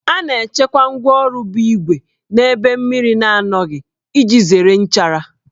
A na-echekwa ngwáọrụ bụ ígwè n'ebe mmiri na-anọghị iji zere nchara